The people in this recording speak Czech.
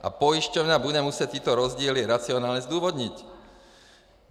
A pojišťovna bude muset tyto rozdíly racionálně zdůvodnit.